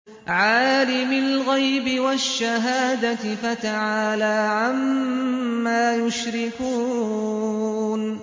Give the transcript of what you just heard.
عَالِمِ الْغَيْبِ وَالشَّهَادَةِ فَتَعَالَىٰ عَمَّا يُشْرِكُونَ